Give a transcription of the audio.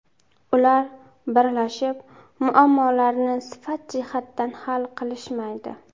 Ular birlashib, muammolarni sifat jihatdan hal qilishmaydi.